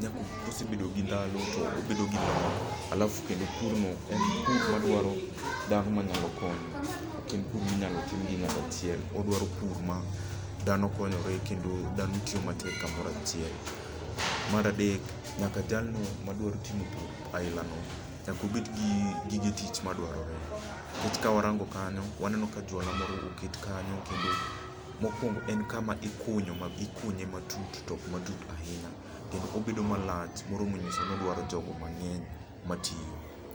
nyaka kosebedo gi ndalo to obedo gi lony. Alafu, kendo purno en pur madwaro dhano ma nyalo konyo. Ok en pur minyalo tim gi ng'ata achiel. Odwaro pur ma dhano konyore kendo dhano tiyo matek kamoro achiel. Mar adek, nyaka jalno ma dwaro timo pur aila no, nyaka obed gi gige tich madwarore. Nikech ka warango kanyo, waneno ka juala moro oket kanyo. Kendo mokuongo en kama ikunyo ma, ikunye matut to ok matut ahinya. Kendo obedo malach, moro monyiso ni odwaro jogo mang'eny, ok matin.